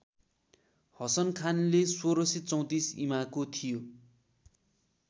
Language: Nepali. हसन खानले १६३४ ईमाको थियो